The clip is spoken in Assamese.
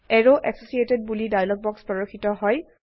এৰৱ এচচিয়েটেড বোলি ডায়লগ বাক্স প্ৰৰ্দশিত হয়